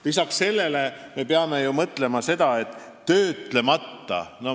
Lisaks me peame ju mõtlema sellele, et töötlemata ümarpuidu väljavedu lõppeks.